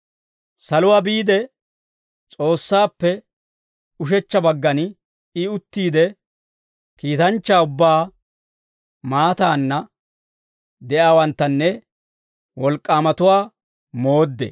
Saluwaa biide S'oossaappe ushechcha baggan I uttiide, kiitanchchaa ubbaa, maataanna de'iyaawanttanne wolk'k'aamatuwaa mooddee.